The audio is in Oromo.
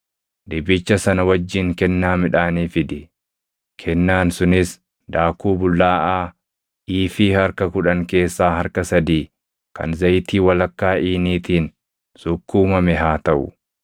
dibicha sana wajjin kennaa midhaanii fidi; kennaan sunis daakuu bullaaʼaa iifii harka kudhan keessaa harka sadii kan zayitii walakkaa iiniitiin sukkuumame haa taʼu.